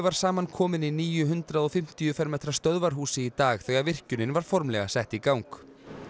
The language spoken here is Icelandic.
samankominn í nýju hundrað og fimmtíu fermetra stöðvarhúsi í dag þegar virkjunin var formlega sett í gang